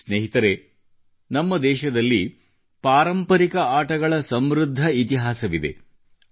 ಸಹವಾಸಿಗಳೇ ನಮ್ಮ ದೇಶದಲ್ಲಿ ಪಾರಂಪರಿಕ ಆಟಗಳ ಸಮೃದ್ಧ ಆನುವಂಶಿಕತೆಯೇ ಇದೆ